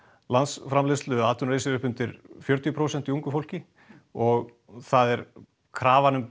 landsframleiðslu atvinnuleysi er upp undir fjörutíu prósent hjá ungu fólki og það er krafan um